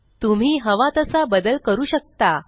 तुम्ही हवा तसा बदल करू शकता